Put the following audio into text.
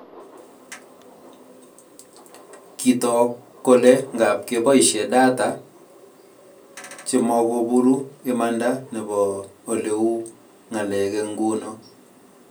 Kitook kole ngap keboisie data chemakoboru imanda nebo oleu ng'alek eng nguno